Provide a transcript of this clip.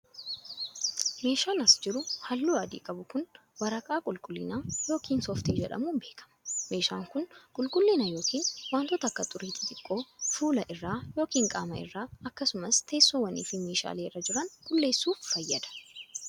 Meeshaan as jiru haalluu adii qabu kun, waraqaa qulqullinaa yokin sooftii jedhamuun beekama. Meeshaan kun, qulqullina yokin wantoota akka xurii xixiqqoo fuula irra yokin qaama irra akkasumas teessoowwanii fi meeshaalee irra jiran qulqulleessuuf fayyada.